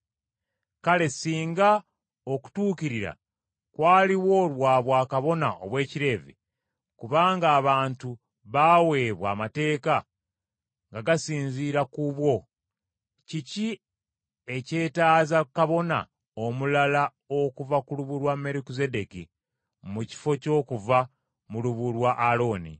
Kale singa okutuukirira kwaliwo lwa bwakabona obw’Ekileevi, kubanga abantu baaweebwa amateeka nga gasinzira ku bwo, kiki ekyetaaza kabona omulala okuva mu lubu lwa Merukizeddeeki, mu kifo ky’okuva mu lubu lwa Alooni?